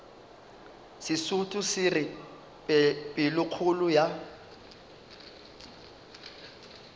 sesotho se re pelokgolo ya